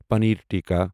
پنیر tikka